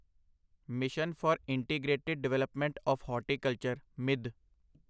mission for integrated development of horticulture ਮਿੱਧ